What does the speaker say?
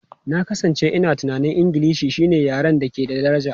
Na kasance ina tunanin Ingilishi shine yaren da ke da daraja.